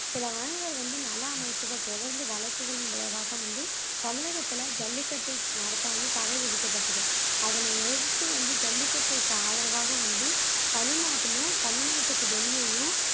சில வந்து நல அமைப்புகள் தொடர்ந்து வழக்குகளின் விளைவாக வந்து தமிழகத்துல ஜல்லிக்கட்டு நடத்த வந்து தடை விதிக்கப்பட்டது அதனை எதிர்த்து வந்து ஜல்லிக்கட்டிற்கு ஆதரவாக வந்து தமிழ்நாட்டிலும் தமிழ்நாட்டுக்கு வெளியேயும்